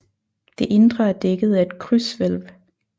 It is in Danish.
Det indre er dækket af et krydshvælv